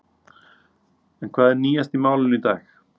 En hvað er nýjast í málinu í dag?